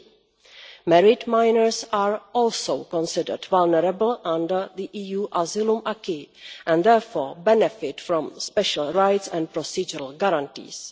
3. Married minors are also considered vulnerable under the EU asylum acquis and therefore benefit from special rights and procedural guarantees.